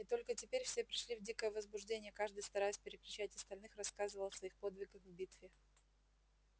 и только теперь все пришли в дикое возбуждение каждый стараясь перекричать остальных рассказывал о своих подвигах в битве